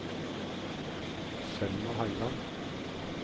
Selma Høyland